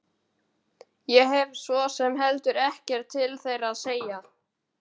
Ég hef svo sem heldur ekkert til þeirra að sækja.